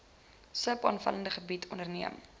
sub opvanggebiede onderneem